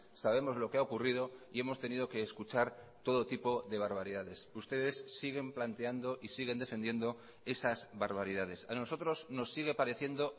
sabemos lo que ha ocurrido y hemos tenido que escuchar todo tipo de barbaridades ustedes siguen planteando y siguen defendiendo esas barbaridades a nosotros nos sigue pareciendo